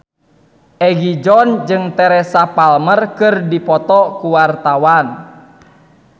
Egi John jeung Teresa Palmer keur dipoto ku wartawan